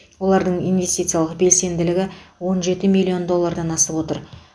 олардың инвестициялық белсенділігі он жеті миллион доллардан асып отыр